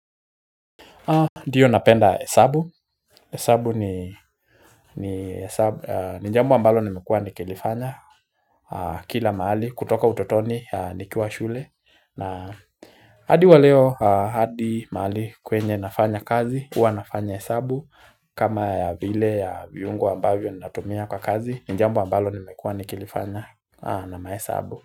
Ndiyo napenda hesabu, hesabu ni jambo ambalo nimekuwa nikilifanya kila mahali kutoka utotoni nikiwa shule na hadi wa leo hadi mahali kwenye nafanya kazi huwa nafanya hesabu kama vile ya viungu ambavyo natumia kwa kazi ni jambo ambalo nimekuwa nikilifanya na mahesabu.